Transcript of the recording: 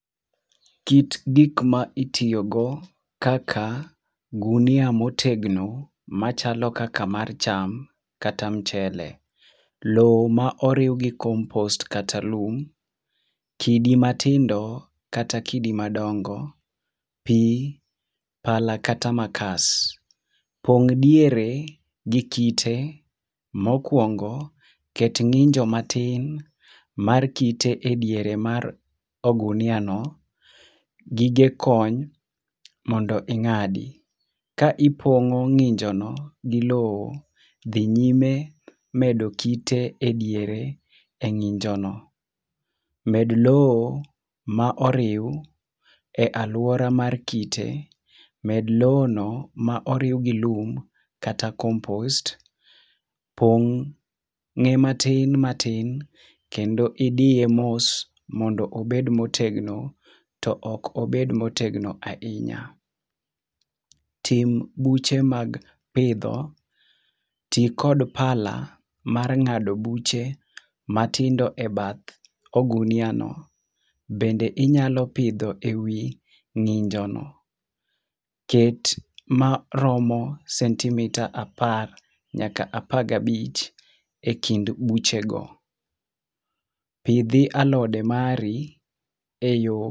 Kit gik ma itiyogo kaka gunia motegno, machalo kaka mar cham, kata mchele. Lowo ma oriw gi compost kata lum, kidi matindo kata kidi madongo, pi, pala kata makas. Pong' diere gi kite mokuongo ket ng'injo matin mar kite ediere mar oguniano. Gige kony mondo ing'adi. Ka ipong'o ng'injono gi lowo. Dhi nyime medo kite ediere eng'injono. Med lowo maoriw ealuora mar kite, med lowono ma oriw gi lum, kata compost. Pong' ng'e matin matin kendo idiye mos mondo obed motegno to ok obed motegno ahinya. Tim buche mag pidho, ti kod pala mar ng'ado buche matindo ebath oguniano. Bende inyalo pidho ewi ng'injono. Ket maromo sentimita apar nyaka apar gabich ekind buchego. Pidhi alode mari eyo